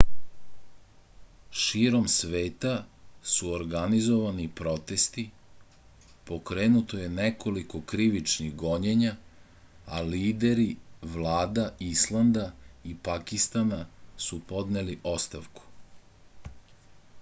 širom sveta su organizovani protesti pokrenuto je nekoliko krivičnih gonjenja a lideri vlada islanda i pakistana su podneli ostavku